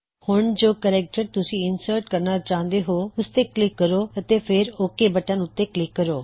ਹੁਣ ਜੋ ਕੇਰੈਕਟਰ ਤੁਸੀ ਇੰਸਰਟ ਕਰਣਾ ਚਾਹੁੰਦੇ ਹੋ ਓਸ ਤੇ ਕਲਿਕ ਕਰੋ ਅਤੇ ਫੇਰ ਓਕ ਬਟਨ ਉੱਤੇ ਕਲਿੱਕ ਕਰੋ